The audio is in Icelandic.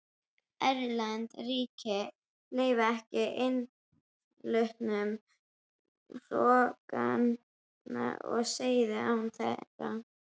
Erlend ríki leyfðu ekki innflutning hrogna og seiða án þeirra.